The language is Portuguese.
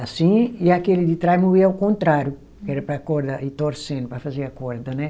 assim, e aquele de trás moía ao contrário, era para a corda ir torcendo, para fazer a corda, né?